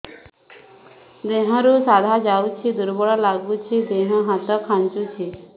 ଦେହରୁ ସାଧା ଯାଉଚି ଦୁର୍ବଳ ଲାଗୁଚି ଦେହ ହାତ ଖାନ୍ଚୁଚି